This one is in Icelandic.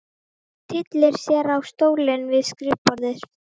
Hún tyllir sér á stólinn við skrifborðið.